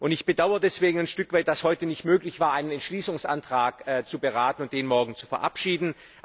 Ich bedauere deswegen ein Stück weit, dass es heute nicht möglich war, einen Entschließungsantrag zu beraten und den morgen zu verabschieden.